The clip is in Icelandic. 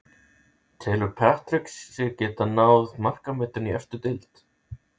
Telur Patrick sig geta náð markametinu í efstu deild?